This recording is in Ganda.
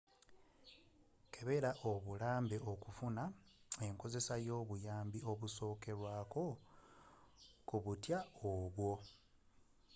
kebela obulambe okufuna enkozesa y'obuyambi obusokerwaako ku butwa obwo